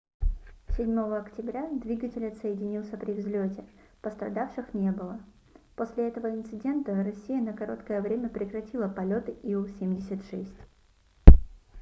7 октября двигатель отсоединился при взлёте пострадавших не было после этого инцидента россия на короткое время прекратила полёты ил-76